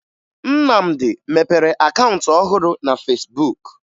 Nnamdị mepere akaụntụ ọhụrụ na Fesbuk